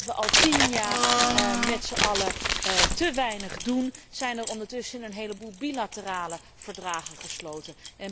En omdat we al tien jaar met zijn allen te weinig doen, zijn er ondertussen een heleboel bilaterale overeenkomsten gesloten.